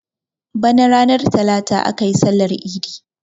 Bana ranar talata aka yi sallar idi.